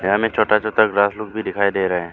यहां में छोटा छोटा घास पूस भी दिखाई दे रहे हैं।